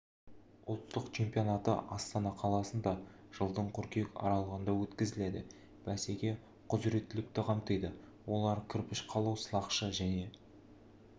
ұлттық чемпионаты астана қаласында жылдың қыркүйек аралығында өткізіледі бәсеке құзіреттілікті қамтиды олар кірпіш қалау сылақшы және